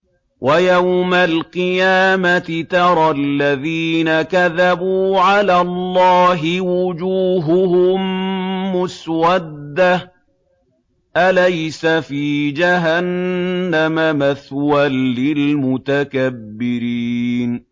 وَيَوْمَ الْقِيَامَةِ تَرَى الَّذِينَ كَذَبُوا عَلَى اللَّهِ وُجُوهُهُم مُّسْوَدَّةٌ ۚ أَلَيْسَ فِي جَهَنَّمَ مَثْوًى لِّلْمُتَكَبِّرِينَ